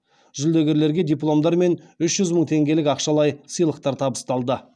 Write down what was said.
жүлдегерлерге дипломдар мен үш жүз мың теңгелік ақшалай сыйлықтар табысталды